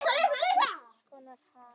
Ýmiss konar haf.